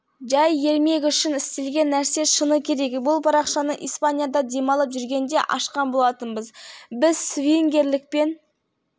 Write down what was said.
айналысамыз өткен жылдың жазында ла-корунья қаласында жүргенде жұппен кездестік кезекті кездесуден кейін біз үш жігіт болып